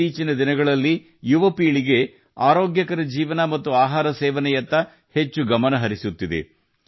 ಇತ್ತೀಚಿನ ದಿನಗಳಲ್ಲಿ ಯುವ ಪೀಳಿಗೆ ಆರೋಗ್ಯಕರ ಜೀವನ ಮತ್ತು ಆಹಾರ ಸೇವನೆಯತ್ತ ಹೆಚ್ಚು ಗಮನಹರಿಸುತ್ತಿದೆ